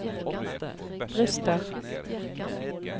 brister